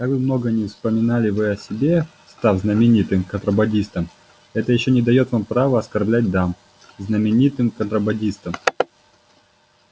как бы много ни вспоминали вы о себе став знаменитым контрабандистом это ещё не даёт вам права оскорблять дам знаменитым контрабандистом